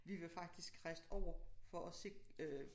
Vi var faktisk rejst over for at se øh